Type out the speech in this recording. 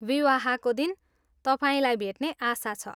विवाहको दिन तपाईँलाई भेट्ने आशा छ!